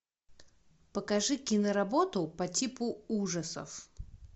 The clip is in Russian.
покажи киноработу по типу ужасов